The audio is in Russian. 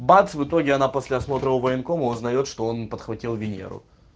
бац в итоге она после осмотра у военкома узнает что он подхватил венеру